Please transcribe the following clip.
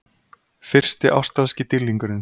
Fyrsti ástralski dýrlingurinn